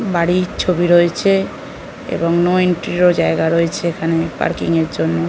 বাড়ির ছবি রয়েছে এবং নো এন্ট্রির জায়গা রয়েছে এখানে পার্কিং -এর জন্য ।